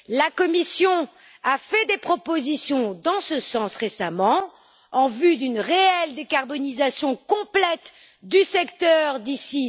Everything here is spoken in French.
La Commission a fait des propositions dans ce sens récemment en vue d'une réelle décarbonisation complète du secteur d'ici